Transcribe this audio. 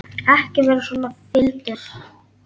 Ekki vera svona fýldur.